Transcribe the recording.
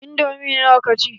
Indomi nawa ka ci?